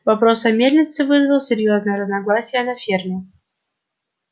вопрос о мельнице вызвал серьёзные разногласия на ферме